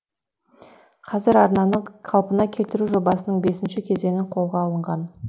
қазір арнаны қалпына келтіру жобасының бесінші кезеңі қолға алынған